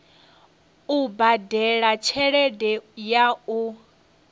u badela tshelede ya u